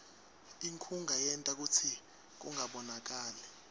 inkhunga yenta kutsi kungabonakali